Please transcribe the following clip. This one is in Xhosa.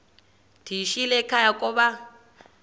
ndiyishiyile ekhaya koba